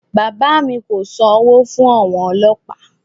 Bàbá mi kò sanwó fún àwọn ọlọ́pàá